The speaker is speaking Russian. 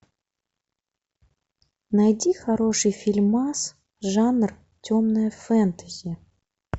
найди хороший фильмас жанр темное фэнтези